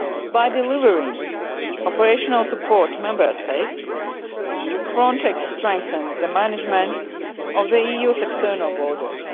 lodged. By delivering operational support to Member States, Frontex strengthens the management of the EU's external borders.